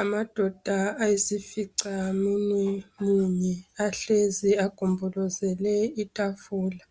Amadoda ayisificamunwe munye ahlezi agombolozele itafula.